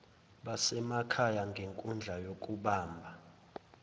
basemakhaya ngenkundla yokubamba